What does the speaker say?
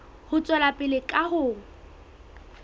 ho tswela pele ka ho